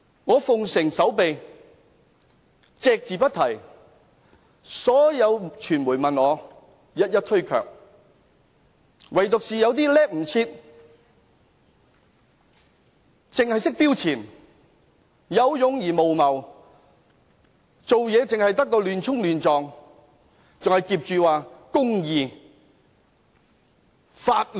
我遵從守秘規則，隻字不提，所有傳媒問我，我一一推卻，唯獨是有些人"叻唔切"，只識"標前"、有勇而無謀、做事亂衝亂撞，還挾着公義、法律。